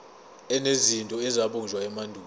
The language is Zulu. enezinto ezabunjwa emandulo